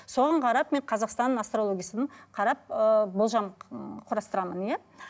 соған қарап мен қазақстанның астрологиясын қарап ыыы болжам ы құрастырамын иә